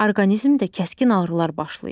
Orqanizmdə kəskin ağrılar başlayır.